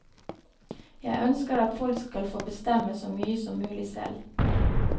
Jeg ønsker at folk skal få bestemme så mye som mulig selv.